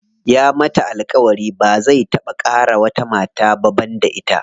Ya mata alƙawari ba zai taɓa ƙara wata mata ba banda ita.